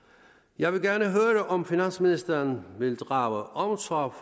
jeg vil gerne høre om finansministeren vil drage omsorg